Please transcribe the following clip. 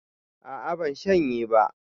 A'a ban shanye ba